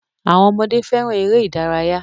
Àwọn ọmọdé fẹràn eré ìdárayá.